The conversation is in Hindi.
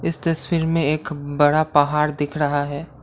इस तस्वीर में एक बड़ा पहाड़ दिख रहा है।